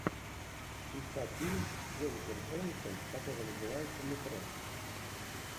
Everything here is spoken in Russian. искать фильм с дженнифер энистон который называется метро